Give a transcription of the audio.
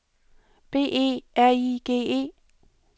B E R I G E